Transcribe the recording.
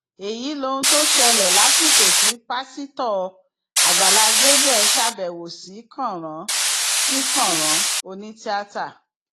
èyí lohun tó ṣẹlẹ lásìkò tí pásítọ àgbàlá gabriel ṣàbẹwò sí kànrán sí kànrán onítìata